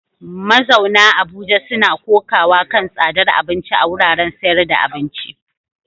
Mazauna Abuja suna kokawa kan tsadar abinci a wuraren sayar da abinci.